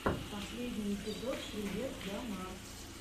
последний эпизод привет я марк